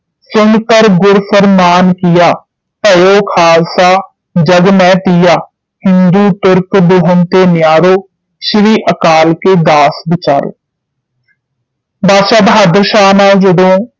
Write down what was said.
ਸੁਨਿ ਕਰਿ ਗੁਰ ਵਰਮਾਵਨਿ ਕੀਆ ਕ੍ਯੋਂ ਖਾਲਸਾ ਜਗ ਮਹਿ ਤੀਆ ਹਿੰਦੂ ਤੁਰਕ ਦਹਿਨ ਤੇ ਜਾਓ ਸ਼੍ਰੀ ਅਕਾਲ ਕੇ ਦਾਸ ਬਿਚਾਰੋ ਬਾਦਸ਼ਾਹ ਬਹਾਦਰ ਸ਼ਾਹ ਨਾਲ ਜਦੋਂ